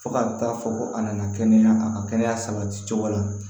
Fo ka taa fɔ ko a nana kɛnɛya a ka kɛnɛya sabati cogo la